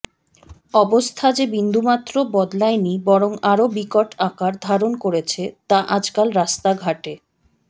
অবস্থা যে বিন্দু মাত্র বদলায়নি বরং আরও বিকট আকার ধারণ করেছে তা আজকাল রাস্তাঘাটে